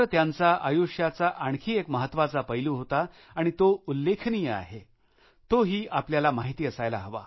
त्यांचा आयुष्याचा आणखी एक महत्वाचा पैलू होता आणि तो उल्लेखनीय आहे तो ही आपल्याला माहिती असायला हवा